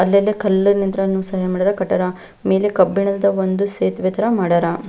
ಅಲ್ಲೆಲ್ಲ ಕಲ್ಲಿನಿಂತ್ರ ಸಹ ಏನ್ ಮಾಡ್ಯಾರ ಕಾಟಿಯರ ಮೇಲೆ ಕಬ್ಬಿಣದ ಒಂದು ಸೇತುವೆ ತರ ಮಾಡ್ಯಾರ.